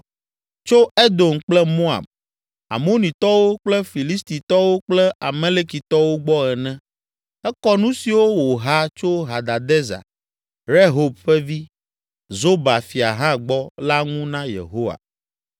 tso Edom kple Moab, Amonitɔwo kple Filistitɔwo kple Amalekitɔwo gbɔ ene. Ekɔ nu siwo wòha tso Hadadezer, Rehob ƒe vi, Zoba fia hã gbɔ la ŋu na Yehowa.